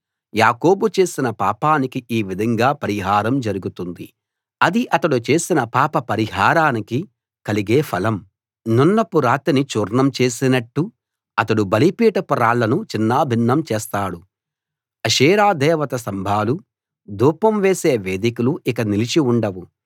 యాకోబు చేసిన పాపానికి ఈ విధంగా పరిహారం జరుగుతుంది అది అతడు చేసిన పాప పరిహారానికి కలిగే ఫలం సున్నపురాతిని చూర్ణం చేసినట్టు అతడు బలిపీఠపు రాళ్ళను చిన్నాభిన్నం చేస్తాడు అషేరా దేవతా స్తంభాలూ ధూపం వేసే వేదికలూ ఇక నిలిచి ఉండవు